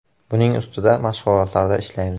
Buning ustida mashg‘ulotlarda ishlaymiz.